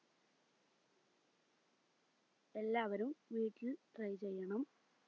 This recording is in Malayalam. എല്ലാവരും വീട്ടിൽ try ചെയ്യണം